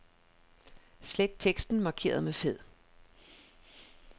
Slet teksten markeret med fed.